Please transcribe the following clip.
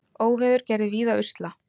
Óveður gerði víða usla